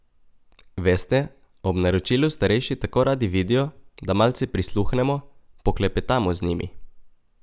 Veste, ob naročilu starejši tako radi vidijo, da malce prisluhnemo, poklepetamo z njimi.